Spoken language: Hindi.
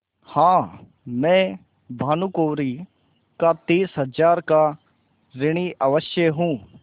हाँ मैं भानुकुँवरि का तीस हजार का ऋणी अवश्य हूँ